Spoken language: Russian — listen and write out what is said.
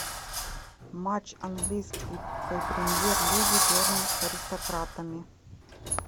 матч английской премьер лиги берн с аристократами